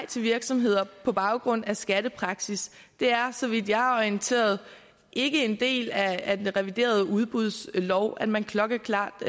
til virksomheder på baggrund af skattepraksis det er så vidt jeg er orienteret ikke en del af af den reviderede udbudslov at man klokkeklart